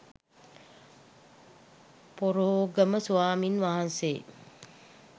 පොරෝගම ස්වාමීන් වහන්සේ